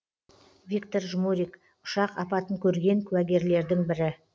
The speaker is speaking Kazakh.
виктор жмурик ұшақ апатын көрген кәугерлердің бірі